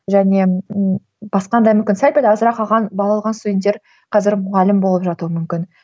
және басқа да мүмкін сәл пәл азырақ алған балл алған студенттер қазір мұғалім болып жатуы мүмкін